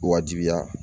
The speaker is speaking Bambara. Wajibiya